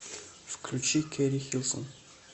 включи кери хилсон